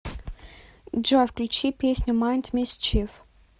джой включи песню майнд мисчиф